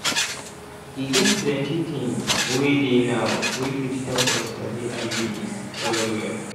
e get plenty things wey dey now wey fit help us sabi iuds well well.